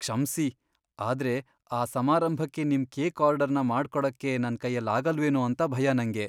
ಕ್ಷಮ್ಸಿ, ಆದ್ರೆ ಆ ಸಮಾರಂಭಕ್ಕೆ ನಿಮ್ ಕೇಕ್ ಆರ್ಡರ್ನ ಮಾಡ್ಕೊಡಕ್ಕೆ ನನ್ಕೈಲಾಗಲ್ವೇನೋ ಅಂತ ಭಯ ನಂಗೆ.